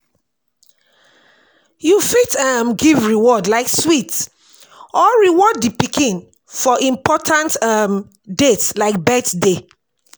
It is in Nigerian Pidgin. You fit um give reward like sweet or reward di pikin for important um dates like birthday